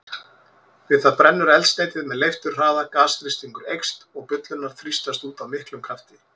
Við það brennur eldsneytið með leifturhraða, gasþrýstingur eykst og bullurnar þrýstast út af miklum krafti.